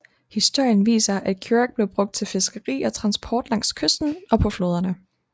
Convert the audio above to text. Historien viser at curach blev brugt til fiskeri og transport langs kysten og på floderne